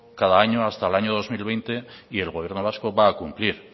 cada año hasta al año dos mil veinte y el gobierno vasco va a cumplir